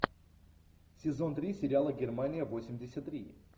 сезон три сериала германия восемьдесят три